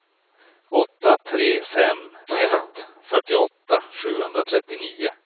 åtta tre fem ett fyrtioåtta sjuhundratrettionio